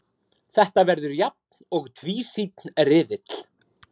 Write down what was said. Þetta verður jafn og tvísýnn riðill